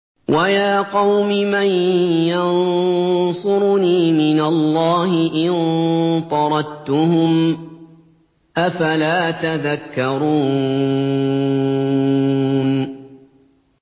وَيَا قَوْمِ مَن يَنصُرُنِي مِنَ اللَّهِ إِن طَرَدتُّهُمْ ۚ أَفَلَا تَذَكَّرُونَ